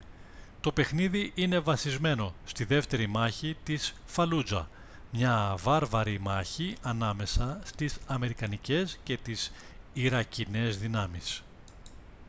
το παιχνίδι είναι βασισμένο στη δεύτερη μάχη της φαλούτζα μια βάρβαρη μάχη ανάμεσα στις αμερικανικές και τις ιρακινές δυνάμεις